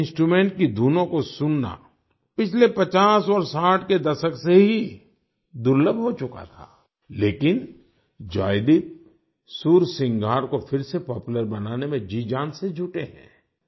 इस इंस्ट्रूमेंट की धुनों को सुनना पिछले 50 और 60 के दशक से ही दुर्लभ हो चुका था लेकिन जॉयदीप सुरसिंगार को फिर से पॉपुलर बनाने में जीजान से जुटे हैं